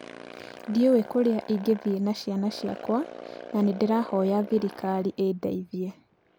"Ndiũĩ kũrĩa ingĩthiĩ na ciana ciakwa na nĩ ndĩrahoya thirikari ĩndeithie", oigire.